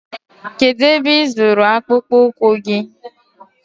Kedụ ebe ị zụrụ akpụkpụ ụkwụ gị?